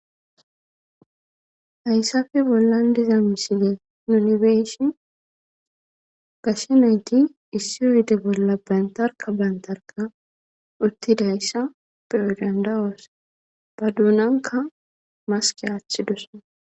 Ayssafe bollan diza misile yunibeeshi gashe nayti issi owede bolla bantarka bantarka uttidayssa peyodandawoos ba duunanka maske aaththi dus